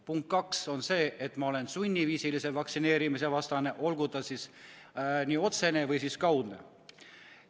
Punkt kaks: ma olen sunniviisilise vaktsineerimise vastane, olgu see sund siis otsene või kaudne.